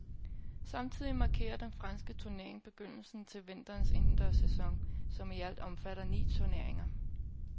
Samtidig markerer den franske turnering begyndelsen til vinterens indendørs sæson, som i alt omfatter ni turneringer.